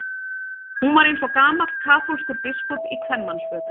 Hún var eins og gamall kaþólskur biskup í kvenmannsfötum.